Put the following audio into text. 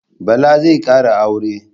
Bala zai kara aure